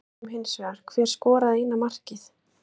Við spyrjum hins vegar, hver skoraði eina markið?